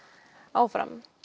áfram